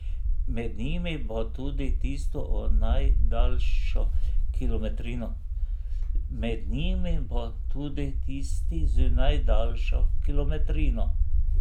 Med njimi bo tudi tisti z najdaljšo kilometrino.